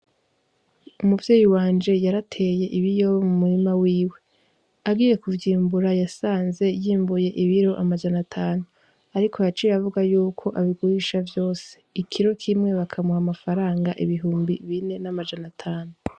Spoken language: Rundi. Umuvyeyi wanje yarateye ibiyoba mu murima wiwe , agiye kuvyimbura yasanze yimbuye ibiro amajana atanu , ariko yaciy'avuga yuko abigurisha vyose , ikiro kimwe bakamuha amafaranga ibihumbi bine n'amajana atanu.